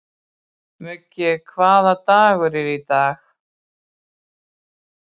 Muggi, hvaða dagur er í dag?